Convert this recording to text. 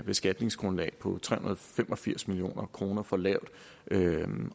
beskatningsgrundlag på tre hundrede og fem og firs million kroner for lavt